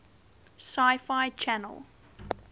sci fi channel